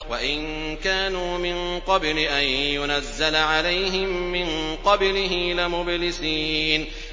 وَإِن كَانُوا مِن قَبْلِ أَن يُنَزَّلَ عَلَيْهِم مِّن قَبْلِهِ لَمُبْلِسِينَ